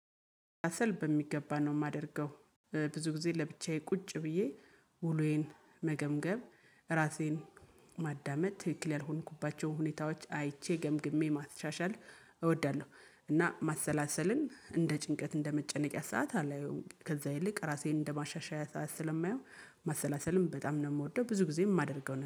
ራስል በሚገባ ነው የማደርገው። ብዙ ጊዜ ለብቻዬ ቁጭ ብዬ ውሎዬን መገምገም፤ ራሴን ማዳመጥ ትክክል ያልሆንኩባቸው ሁኔታዎች አይቼ ገምግሜ ማሻሻል እወዳለሁ። እና ማሰላሰልን እንደ ጭንቀት እንደ መጨነቂያ ሰዓት አላየውም። ከዛ ይልቅ ራሴን እንደ ማሻሻያ ሰዓት ስለማየው ማሰላሰልን በጣም ነው የምወደው። ብዙ ጊዜ የማደርገው